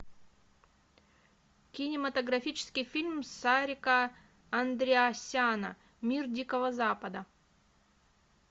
кинематографический фильм сарика андриасяна мир дикого запада